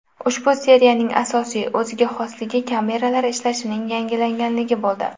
Ushbu seriyaning asosiy o‘ziga xosligi kameralar ishlashining yangilanganligi bo‘ldi.